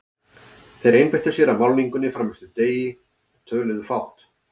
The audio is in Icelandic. Þeir einbeittu sér að málningunni fram eftir degi og töluðu fátt.